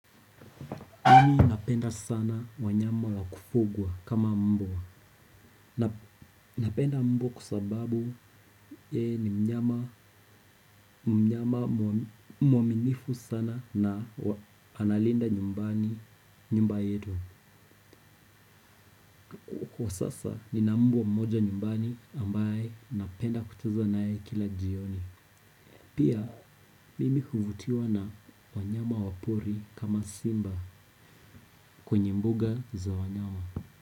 Mimi napenda sana wanyama wa kufugwa kama mbwa. Napenda mbwa kwa sababu yeye ni mnyama mwaminifu sana na analinda nyumbani nyumba yetu. Kwa sasa nina mbwa mmoja nyumbani ambaye napenda kucheza naye kila jioni. Pia mimi huvutiwa na wanyama wa pori kama simba kwenye mbuga za wanyama.